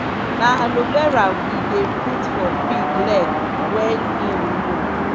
na aloe vera we dey put for pig leg wen im wound.